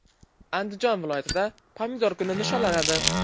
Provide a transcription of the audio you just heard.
Andijon viloyatida Pomidor kuni nishonlanadi.